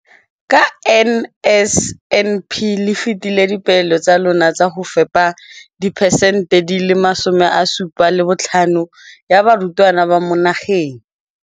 Ka NSNP le fetile dipeelo tsa lona tsa go fepa masome a supa le botlhano a diperesente ya barutwana ba mo nageng.